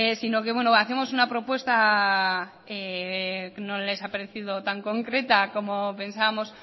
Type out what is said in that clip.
sino que hacemos propuesta no les ha parecido tan concreta como pensábamos